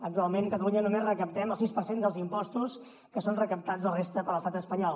actualment a catalunya només recaptem el sis per cent dels impostos i són recaptats la resta per l’estat espanyol